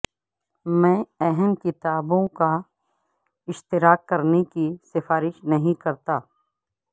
میں اہم کتابوں کا اشتراک کرنے کی سفارش نہیں کرتا